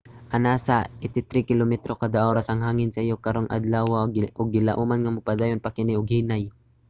anaa sa 83 kilometro kada oras ang hangin sayo karong adlawa ug gilauman nga mopadayon pa kini og hinay